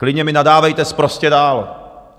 Klidně mi nadávejte sprostě dál.